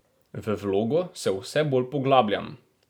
V vlogo se vse bolj poglabljam.